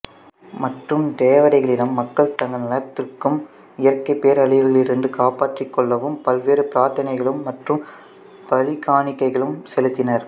மற்றும் தேவதைகளிடம் மக்கள் தங்கள் நலத்திற்கும் இயற்கை பேரழிவுகளிலிருந்தும் காப்பாற்றிக் கொள்ளவும் பல்வேறு பிரார்த்தனைகளும் மற்றும் பலி காணிக்கைளும் செலுத்தினர்